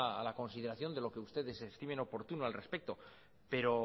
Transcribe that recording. a la consideración de lo que ustedes estimen oportuno al respecto pero